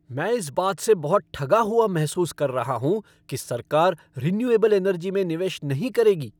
मैं इस बात से बहुत ठगा हुआ महसूस कर रहा हूँ कि सरकार रीन्युएबल एनर्जी में निवेश नहीं करेगी।